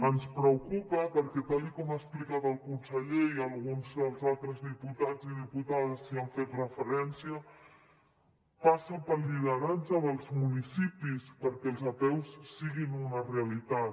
ens preocupa perquè tal com ha explicat el conseller i alguns dels altres diputats i diputades hi han fet referència passa pel lideratge dels municipis que els apeus siguin una realitat